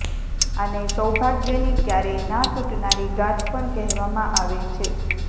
આને સૌભાગ્યની ક્યારેય ના તૂટનારી ગાંઠ પણ કહેવામાં આવે છે